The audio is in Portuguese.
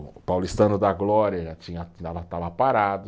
O paulistano da glória já tinha, estava parado,